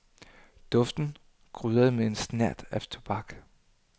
Duften krydret med en snert af tobak.